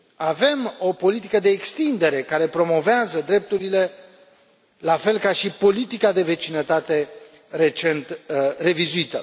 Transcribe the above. Avem o politică de extindere care promovează drepturile, la fel ca și politica de vecinătate recent revizuită.